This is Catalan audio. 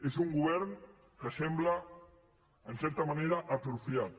és un govern que sembla en certa manera atrofiat